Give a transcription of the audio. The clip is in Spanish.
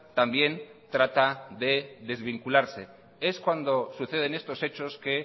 también trata de desvincularse es cuando suceden estos hechos que